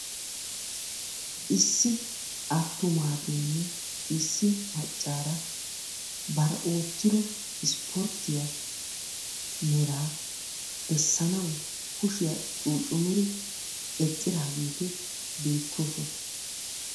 Issi attumaageenne Issi maccaara bari oottiddo ispportiya meraa bessanawu kushiya cuccummidi eqqidaageti beettoosona.